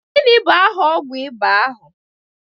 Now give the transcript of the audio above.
Gini bu aha ọgwu ịba ahu?